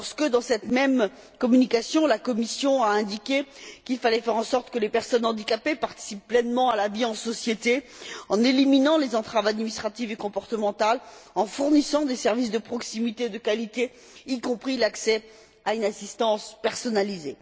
Dans cette même communication, la Commission a indiqué qu'il fallait faire en sorte que les personnes handicapées participent pleinement à la vie en société, en éliminant les entraves administratives et comportementales, en fournissant des services de proximité et de qualité, y compris l'accès à une assistance personnalisée.